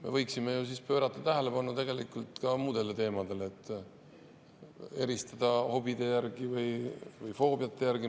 Me võiksime siis ju pöörata tähelepanu ka muudele teemadele, eristada hobide või foobiate järgi.